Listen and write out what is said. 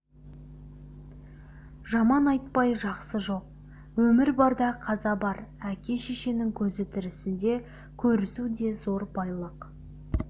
жаман айтпай жақсы жоқ өмір барда қаза бар әке-шешенің көзі тірісінде көрісу де зор байлық